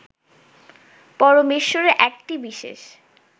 পরমেশ্বরের একটি বিশেষ